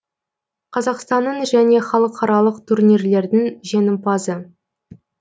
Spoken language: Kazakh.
қазақстанның және халықаралық турнирлердің жеңімпазы